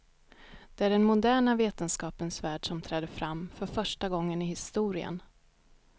Det är den moderna vetenskapens värld som träder fram, för första gången i historien.